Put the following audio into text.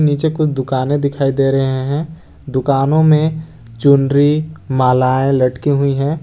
नीचे कुछ दुकाने दिखाई दे रहे हैं दुकानों में चुनरी मालाएं लटकी हुई है।